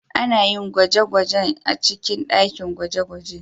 Ana yin gwaje-gwajen a cikin dakin gwaje-gwaje